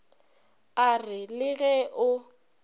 a re le ge o